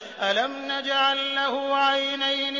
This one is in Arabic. أَلَمْ نَجْعَل لَّهُ عَيْنَيْنِ